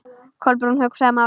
Kolbrún hugsaði málið.